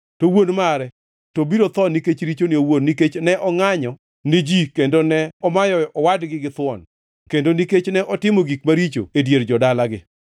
To wuon mare to biro tho nikech richone owuon, nikech ne ongʼanyo ni ji kendo ne omayo owadgi githuon kendo nikech ne otimo gik maricho e dier jo-dalagi.